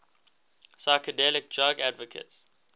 psychedelic drug advocates